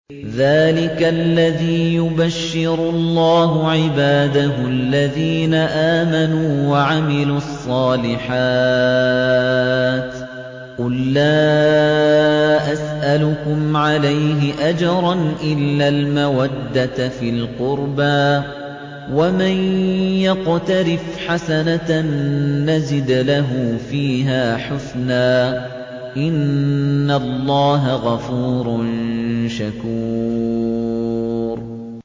ذَٰلِكَ الَّذِي يُبَشِّرُ اللَّهُ عِبَادَهُ الَّذِينَ آمَنُوا وَعَمِلُوا الصَّالِحَاتِ ۗ قُل لَّا أَسْأَلُكُمْ عَلَيْهِ أَجْرًا إِلَّا الْمَوَدَّةَ فِي الْقُرْبَىٰ ۗ وَمَن يَقْتَرِفْ حَسَنَةً نَّزِدْ لَهُ فِيهَا حُسْنًا ۚ إِنَّ اللَّهَ غَفُورٌ شَكُورٌ